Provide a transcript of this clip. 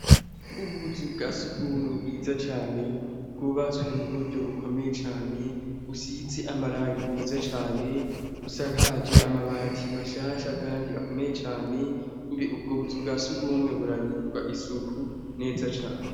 Ubuzu bwa surwumwe bwiza cane, bwubatswe mu buryo bukomeye cane; businze amarangi meza cane, busakaje amabati mashasha kandi akomeye cane. Mbe ubwo buzu bwa surwumwe buragirirwa isuku, neza cane ?